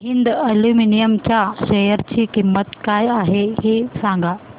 Hind aluminium च्या share ची किंमत काय आहे हे सांगा